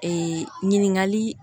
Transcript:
Ee ɲininkali